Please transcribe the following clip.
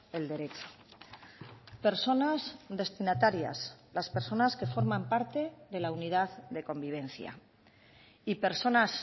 el derecho personas destinatarias las personas que forman parte de la unidad de convivencia y personas